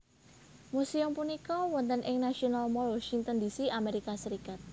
Museum punika wonten ing National Mall Washington D C Amerika Serikat